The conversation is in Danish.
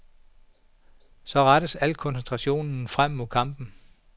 Så rettes al koncentrationen frem mod kampen.